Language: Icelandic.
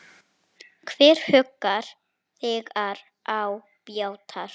Hver huggar þegar á bjátar?